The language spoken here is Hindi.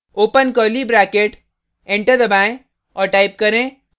ओपन कर्ली ब्रैकेट एंटर दबाएँ और टाइप करें